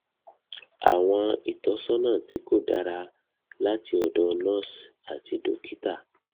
àwọn ìtọsọnà tí kò dára láti ọdọ nurse àti dókítà